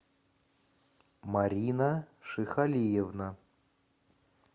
марина шихалиевна